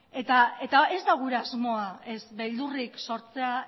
ez da gure asmoa ez beldurrik sortzea